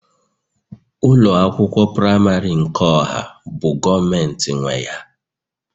ụlọ akwụkwọ praịmarị nke ọha bụ Gọọmentị nwe ya